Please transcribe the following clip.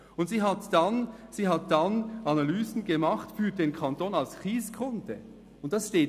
Und sie hat dann Analysen für den Kanton als Kieskunde gemacht.